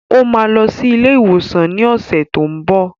Ó máa lọ sí ilé-ìwòsàn ní ọ̀sẹ̀ tó n bọ̀.